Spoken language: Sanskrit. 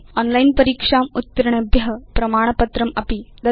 ओनलाइन् परीक्षाम् उत्तीर्णेभ्य प्रमाणपत्रमपि ददाति